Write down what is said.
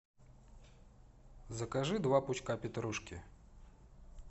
закажи два пучка петрушки